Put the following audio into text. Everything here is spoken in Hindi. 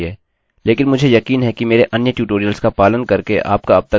लेकिन मुझे यकीन है कि मेरे अन्य ट्यूटोरियल्स का पालन करके आपका अब तक वेरिएबल्स पर पूर्ण नियंत्रण हो गया होगा